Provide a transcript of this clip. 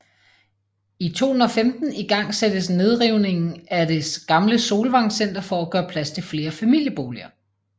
I 2015 igangsættes nedrivningen af det gamle Solvang Center for at gøre plads til flere familieboliger